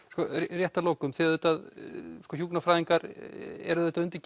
rétt að lokum þið auðvitað hjúkrunarfræðingar eruð auðvitað undir